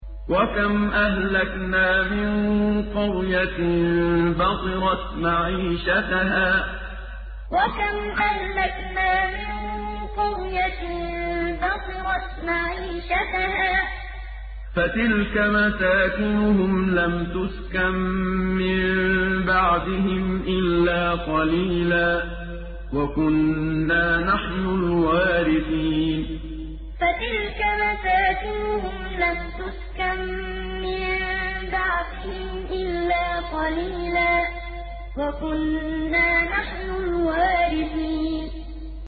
وَكَمْ أَهْلَكْنَا مِن قَرْيَةٍ بَطِرَتْ مَعِيشَتَهَا ۖ فَتِلْكَ مَسَاكِنُهُمْ لَمْ تُسْكَن مِّن بَعْدِهِمْ إِلَّا قَلِيلًا ۖ وَكُنَّا نَحْنُ الْوَارِثِينَ وَكَمْ أَهْلَكْنَا مِن قَرْيَةٍ بَطِرَتْ مَعِيشَتَهَا ۖ فَتِلْكَ مَسَاكِنُهُمْ لَمْ تُسْكَن مِّن بَعْدِهِمْ إِلَّا قَلِيلًا ۖ وَكُنَّا نَحْنُ الْوَارِثِينَ